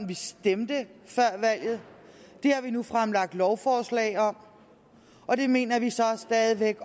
vi stemte for før valget har vi nu fremsat et lovforslag om og det mener vi så stadig væk